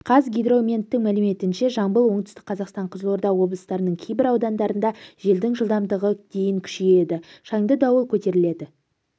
қазгидрометтің мәліметінше жамбыл оңтүстік қазақстан қызылорда облыстарының кейбір аудандарында желдің жылдамдығы дейін күшейеді шаңды дауыл көтеріледі